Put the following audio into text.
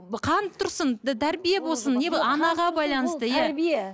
қан тұрсын тәрбие болсын анаға байланысты иә